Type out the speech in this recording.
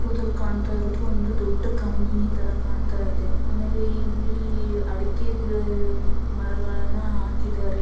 ಫೋಟೋದಲ್ಲಿ ಕಾಣ್ತಾ ಇರೋದು ಒಂದು ದೊಡ್ಡ ಕಂಪನಿ ತರ ಕಾಣ್ತಾಇದೆ ಆಮೇಲೆ ಇಲ್ಲಿ ಅಡಕೆ ಗಿಡ ಮರಗಳನ್ನ ಹಾಕಿದ್ದಾರೆ.